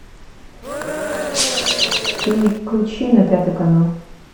переключи на пятый канал